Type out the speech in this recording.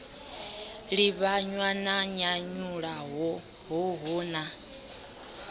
livhanywa na nyanyulaho hoho na